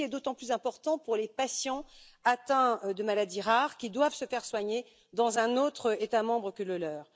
Ceci est d'autant plus important pour les patients atteints de maladies rares qui doivent se faire soigner dans un autre État membre que le leur.